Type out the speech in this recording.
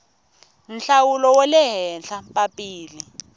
nhlawulo wa le henhla papila